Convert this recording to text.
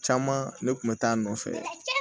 Caman ne kun bɛ taa a nɔfɛ